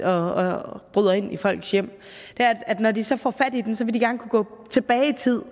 og bryder ind i folks hjem er at når de så får fat i dem vil de gerne kunne gå tilbage i tid